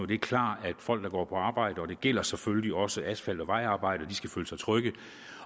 det er klart at folk der går på arbejde og det gælder selvfølgelig også asfalt og vejarbejde skal føle sig trygge